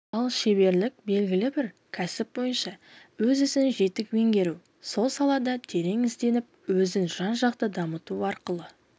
ал шеберлік белгілі бір кәсіп бойынша өз ісін жетік меңгеру сол салада терең ізденіп өзін жан-жақты дамыту арқылы